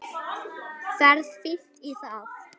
Ferð fínt í það.